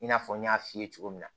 I n'a fɔ n y'a f'i ye cogo min na